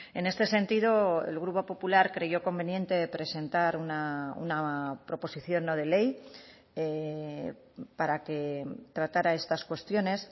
en este sentido el grupo popular creyó conveniente presentar una proposición no de ley para que tratara estas cuestiones